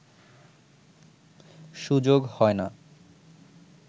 সুযোগ হয় না